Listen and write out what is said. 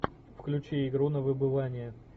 включи игру на выбывание